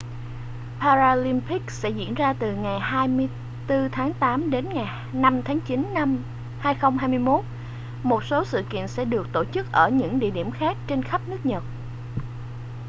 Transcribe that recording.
paralympics sẽ diễn ra từ ngày 24 tháng tám đến ngày 5 tháng chín năm 2021 một số sự kiện sẽ được tổ chức ở những địa điểm khác trên khắp nước nhật